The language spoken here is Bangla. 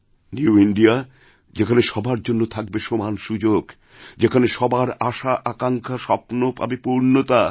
নিউ ইন্দিয়া যেখানে সবার জন্য থাকবে সমান সুযোগযেখানে সবার আশাআকাঙ্ক্ষা স্বপ্ন পাবে পূর্ণতা